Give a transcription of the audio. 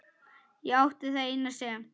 Ég átti það eina sem